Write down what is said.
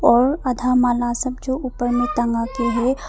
और आधा माला सब जो ऊपर में टंगा के है।